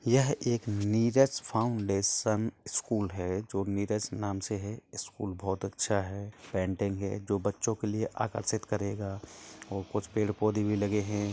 यह एक Neeraj foundation school है जो नीरज नाम से है स्कूल बहुत अच्छा हैं पेंटिंग हैं जो बच्चों के लिए आकर्षित करेगा और कुछ पेड़ पौधे भी लगे हैं।